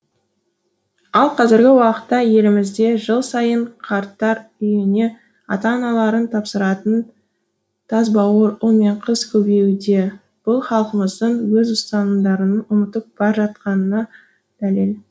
ал қазіргі уақытта елімізде жыл сайын қарттар үйіне ата аналарын тапсыратын тасбауыр ұл мен қыз көбеюде бұл халқымыздың өз ұстанымдарын ұмытып бар жатқанына дәлел